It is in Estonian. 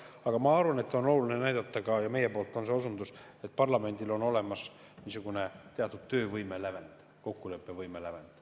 Aga ma arvan, et on oluline näidata ka seda – ja meie poolt on see osundus –, et parlamendil on olemas niisugune teatud töövõime lävend, kokkuleppevõime lävend.